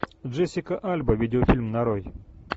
джессика альба видеофильм нарой